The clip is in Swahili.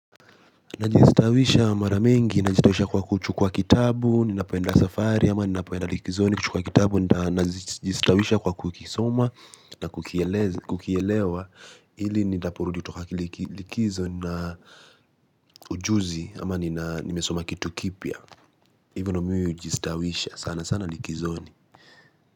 Najistawisha mara mingi, najistawisha kwa kuchukua kitabu, ninapoenda safari, ama ninapoenda likizoni, kuchukua kitabu, najistawisha kwa kukisoma na kukielewa ili nitapurudi kutoka likizo na ujuzi, ama nimesoma kitu kipya. Hivyo ndio mi hujistawisha sana sana likizoni.